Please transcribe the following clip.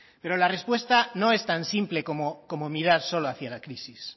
pero la respuesta no es tan simple como mirar solo hacia la crisis